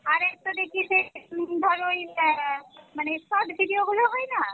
আর একটা দেখি যে হম ধর ঐ আহ মানে short video গুলো হয়না